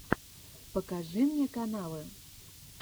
покажи мне каналы